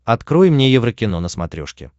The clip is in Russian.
открой мне еврокино на смотрешке